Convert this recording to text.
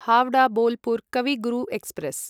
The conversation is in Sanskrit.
हावडा बोलपुर् कवि गुरु एक्स्प्रेस्